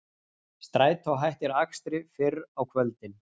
Strætó hættir akstri fyrr á kvöldin